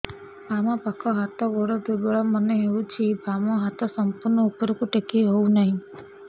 ବାମ ପାଖ ହାତ ଗୋଡ ଦୁର୍ବଳ ମନେ ହଉଛି ବାମ ହାତ ସମ୍ପୂର୍ଣ ଉପରକୁ ଟେକି ହଉ ନାହିଁ